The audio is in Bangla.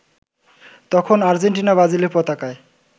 তখন আর্জেন্টিনা-ব্রাজিলের পতাকায়